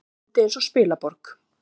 Hrundi eins og spilaborg.